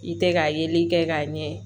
I tɛ ka yeli kɛ ka ɲɛ